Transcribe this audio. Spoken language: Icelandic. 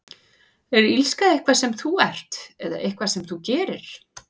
Er illska eitthvað sem þú ert, eða eitthvað sem þú gerir?